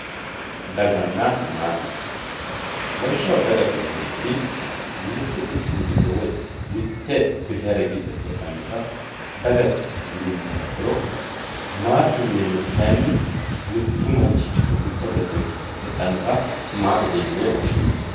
Dagana maate lawishaho dagate yinemoti mittu quchumi gido woyi mitu quchumi gido hedhano maatete yinemori kayi mittu macnhi gido hedhanota maatete yine woshinani